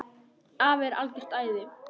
Afi er algert æði.